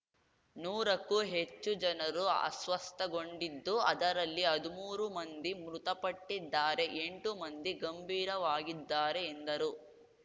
ನೂರಕ್ಕೂ ಹೆಚ್ಚು ಜನರು ಅಸ್ವಸ್ಥಗೊಂಡಿದ್ದು ಅದರಲ್ಲಿ ಹದ್ಮೂರು ಮಂದಿ ಮೃತಪಟ್ಟಿದ್ದಾರೆ ಎಂಟು ಮಂದಿ ಗಂಭೀರವಾಗಿದ್ದಾರೆ ಎಂದರು